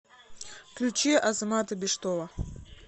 включи азамата биштова